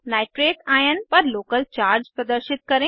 nitrate ion पर local charge प्रदर्शित करें